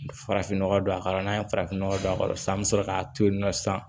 Farafinnɔgɔ don a kɔrɔ n'a ye farafinnɔgɔ don a kɔrɔ sisan an bɛ sɔrɔ k'a to yen nɔ sisan